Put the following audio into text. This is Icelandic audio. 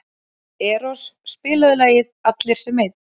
Eros, spilaðu lagið „Allir sem einn“.